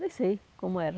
Nem sei como era.